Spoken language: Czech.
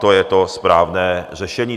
To je to správné řešení.